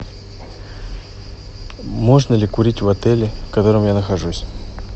можно ли курить в отеле в котором я нахожусь